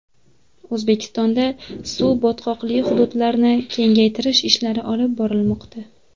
O‘zbekistonda suv-botqoqli hududlarni kengaytirish ishlari olib borilmoqda.